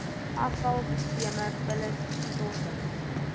afval sisteme vullisstortings